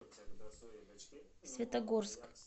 светогорск